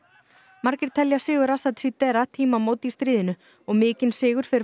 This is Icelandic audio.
margir telja sigur Assads í tímamót í stríðinu og mikinn sigur fyrir